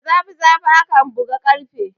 Da zafi zafi akan buga karfe